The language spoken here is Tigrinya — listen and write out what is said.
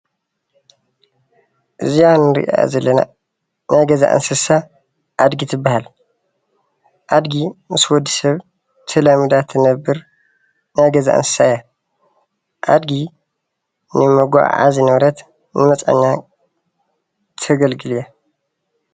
እዛ እንሪኣ ዘለና ናይ ገዛ እንስሳት ኣድጊ ትባሃል፡፡ ኣድጊ ምስ ወዲ ሰብ ተላሚዳ እትነብር ናይ ገዛ እንሰሳ እያ፡፡ አድጊ ንመጋዓዓዚ ንብረትን ንመጽዓኛ ተገልግል እያ፡፡